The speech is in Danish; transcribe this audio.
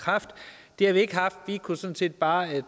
kraft det har vi ikke haft vi kunne sådan set bare